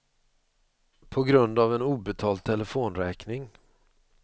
På grund av en obetald telefonräkning.